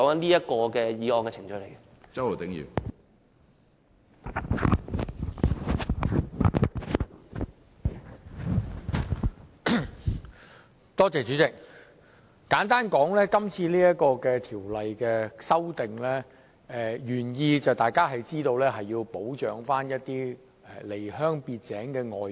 主席，簡單而言，大家也知道這項《2017年僱傭條例草案》的原意旨在保障一些離鄉別井的外傭。